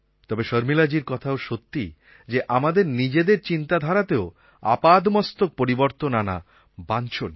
তবে শর্মিলাজীর কথাটা সত্যি যে আমাদের নিজেদের চিন্তাধারাতেও আপাদমস্তক পরিবর্তন আনা বাঞ্ছনীয়